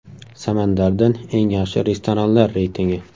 Samandardan eng yaxshi restoranlar reytingi.